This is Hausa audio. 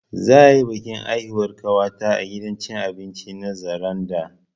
Za'a yi bikin haihuwar ƙawata a gidan cin abinci na Zaranda